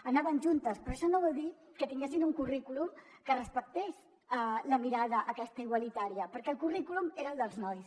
anaven juntes però això no vol dir que tinguessin un currículum que respectés la mirada aquesta igualitària perquè el currículum era el dels nois